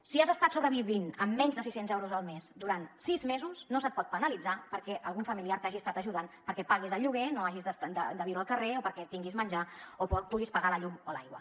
si has estat sobrevivint amb menys de sis cents euros al mes durant sis mesos no se’t pot penalitzar perquè algun familiar t’hagi estat ajudant perquè paguis el lloguer no hagis de viure al carrer o perquè tinguis menjar o puguis pagar la llum o l’aigua